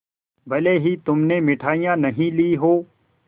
भले ही तुमने मिठाई नहीं ली हो